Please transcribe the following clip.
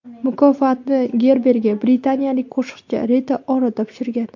Mukofotni Gerberga britaniyalik qo‘shiqchi Rita Ora topshirgan.